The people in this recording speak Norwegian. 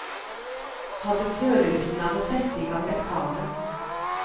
Hadde følelsen av å sette i gang et kamera.